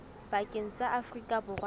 pakeng tsa afrika borwa le